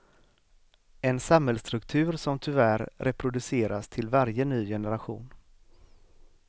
En samhällsstruktur som tyvärr reproduceras till varje ny generation.